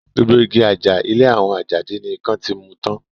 Gbogbo igi àjà ilé àwọn Àjàdí ni ikán ti mu tán